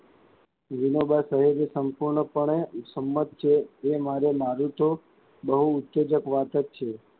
વિનોબાં સહિત સંપૂર્ણપણે સંમત છે, એ મારે માનું તો બહુ ઉચ્ચજક વાત જ છે.